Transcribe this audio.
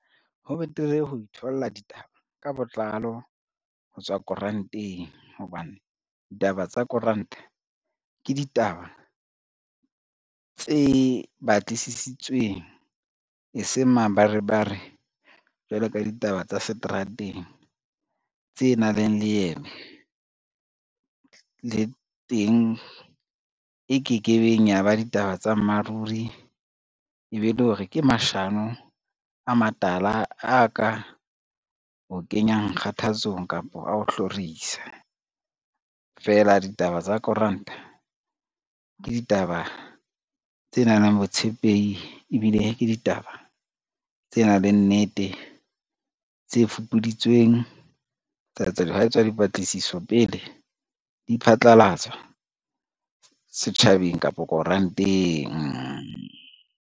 Ho betere ho itholla ditaba ka botlalo ho tswa koranteng hobane, ditaba tsa koranta ke ditaba tse batlisisitsweng e seng mabarebare jwalo ka ditaba tsa seterateng tse nang le leeme, le teng e kekebeng ya ba ditaba tsa mmaruri e be le hore ke mashano a matala, a ka o kenyang kgathatsong kapa a o hlorisa. Feela ditaba tsa koranta ke ditaba tse nang le botshepehi ebile ke ditaba tse nang le nnete, tse fupuditsweng, hwa etswa dipatlisiso pele di phatlalatswa setjhabeng kapo koranteng.